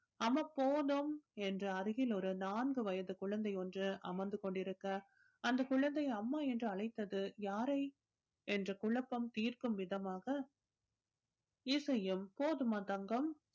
அம்மா போதும் என்று அருகில் ஒரு நான்கு வயது குழந்தை ஒன்று அமர்ந்து கொண்டிருக்க அந்த குழந்தை அம்மா என்று அழைத்தது யாரை என்று குழப்பம் தீர்க்கும் விதமாக இசையும் போதுமா தங்கம்